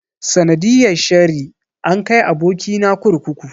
Sanadiyar sheri an kai aboki na kurkuku.